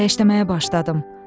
Döyəşləməyə başladım.